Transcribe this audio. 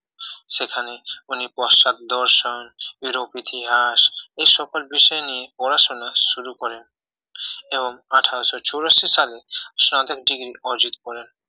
সেখানে উনি পশ্চাৎ দর্শন ইউরোপ ইতিহাস এ সকল বিষয় নিয়ে পড়াশোনা শুরু করেন এবং আঠারোশো চুরাশি সালে স্নাতক ডিগ্রি অর্জিত করেন